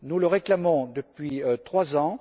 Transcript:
Nous le réclamons depuis trois ans.